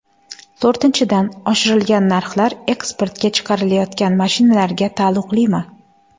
To‘rtinchidan, oshirilgan narxlar eksportga chiqarilayotgan mashinalarga taalluqlimi?